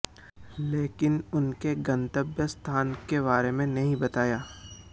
लेकिन उनके गंतव्य स्थान के बारें में नहीं बताया